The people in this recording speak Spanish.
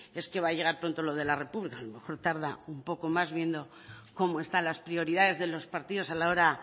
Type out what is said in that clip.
es que va a llegar pronto lo de la república a lo mejor tarda un poco más viendo como están las prioridades de los partidos a la hora